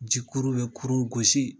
Jikuru bɛ kurun gosi.